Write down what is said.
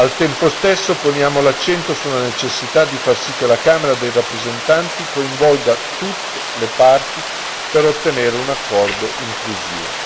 Al tempo stesso poniamo l'accento sulla necessità di far sì che la Camera dei rappresentanti coinvolga tutte le parti per ottenere un accordo inclusivo.